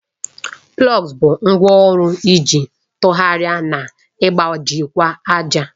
Plawu bụ ngwá ọrụ iji tụgharịa na ịgbajikwa ájà.